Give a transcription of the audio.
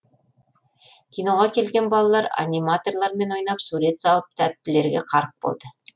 киноға келген балалар аниматорлармен ойнап сурет салып тәттілерге қарық болды